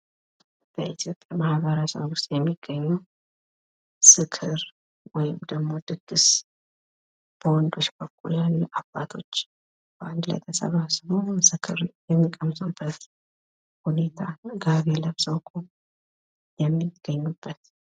በኢትዮጵያ ማህበረሰብ ውስጥ የሚገኙ ዝክር ወይም ደግሞ ድግስ በወንዶች በኩል ያሉ አባቶች አንድ ላይ ተሰባስበው ዝክር የሚቀምሱበት ሁኔታ ጋቢ ለብሰው የሚገኙበት።